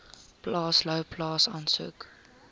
plaas louwplaas asook